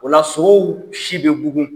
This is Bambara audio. O la sow si bɛ bugun.